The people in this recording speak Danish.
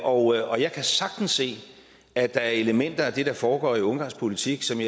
og jeg kan sagtens se at der er elementer af det der foregår i ungarsk politik som